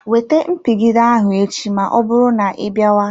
Wete mpigide ahụ echi ma ọbụrụ na ịbịawa.